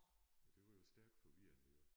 Og det var jo stærkt forvirrende jo